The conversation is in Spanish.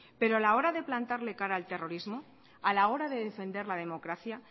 pero a la hora de plantarle cara al terrorismo a la hora de defender la democracia